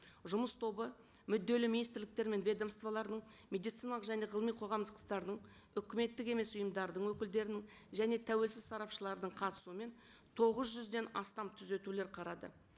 жұмыс тобы мүдделі министрліктер мен ведомстволарының медициналық және ғылыми қоғамдықтарының үкіметтік емес ұйымдардың өкілдерінің және тәуелсіз сарапшылардың қатысуымен тоғыз жүзден астам түзетулер қарады